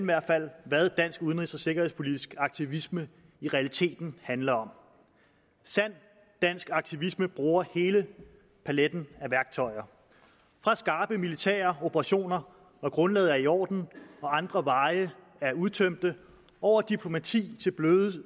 hvert fald hvad dansk udenrigs og sikkerhedspolitisk aktivisme i realiteten handler om sand dansk aktivisme bruger hele paletten af værktøjer fra skarpe militære operationer hvor grundlaget er i orden og andre veje er udtømte over diplomati til blød